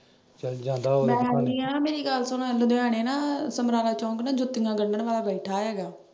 ਸ਼ਾਇਦ ਜਾਂਦਾ ਹੋਵੇ ਮੈਂ ਜਾਨੀ ਆਂ ਮੇਰੀ ਗੱਲ ਸੁਣੋ ਲੁਧਿਆਣੇ ਨਾ ਸਮਰਾਲਾ ਚੌਂਕ ਨਾ ਜੁੱਤੀਆਂ ਗੰਢਣ ਵਾਲਾ ਬੈਠਾ ਹੈਗਾ।